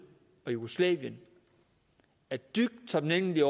og jugoslavien er dybt taknemmelige